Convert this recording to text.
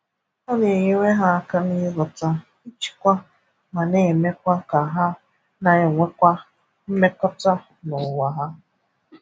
Ọ na-enyere ha aka n'ịghọta, ịchịkwa, ma na-emekwa ka ha na-enwekwa mmekọta n'ụwa hà.